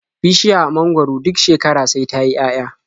Bishiya mangwaro duk shekara sai ta yi 'ya'ya.